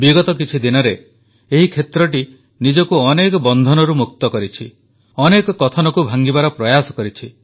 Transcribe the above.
ବିଗତ କିଛି ଦିନରେ ଏହି କ୍ଷେତ୍ରଟି ନିଜକୁ ଅନେକ ବନ୍ଧନରୁ ମୁକ୍ତ କରିଛି ଅନେକ କଥନକୁ ଭାଂଗିବାର ପ୍ରୟାସ କରିଛି